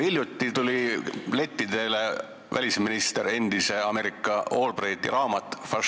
Hiljuti tuli lettidele endise Ameerika välisministri Albrighti raamat "Fašism.